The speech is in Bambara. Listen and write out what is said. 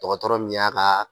Tɔgɔtɔ min y'a ka